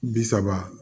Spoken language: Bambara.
Bi saba